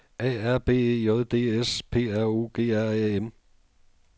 A R B E J D S P R O G R A M